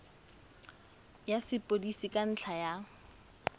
ya sepodisi ka ntlha ya